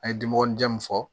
An ye dimɔgɔnin di mun fɔ